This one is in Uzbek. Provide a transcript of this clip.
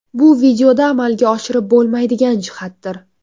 Bu videoda amalga oshirib bo‘lmaydigan jihatdir.